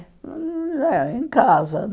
Hum é, em casa.